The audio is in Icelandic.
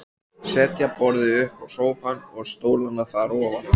Setja borðið uppá sófann og stólana þar ofaná.